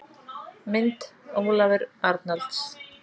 Mynd: Ólafur Arnalds.